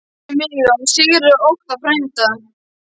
Hann minnti mig á að Sigurður Óttar, frændi